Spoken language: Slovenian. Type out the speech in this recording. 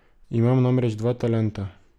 Imam namreč dva talenta.